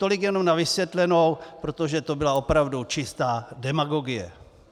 Tolik jenom na vysvětlenou, protože to byla opravdu čistá demagogie.